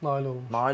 Nail olunmuşuq.